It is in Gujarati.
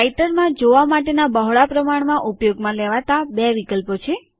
રાઈટરમાં જોવા માટેનાં બહોળા પ્રમાણમાં ઉપયોગમાં લેવાતા બે વિકલ્પો છે